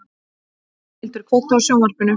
Ormhildur, kveiktu á sjónvarpinu.